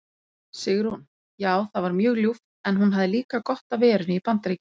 Sigrún: Já það var mjög ljúft en hún hafði líka gott af verunni í BAndaríkjunum.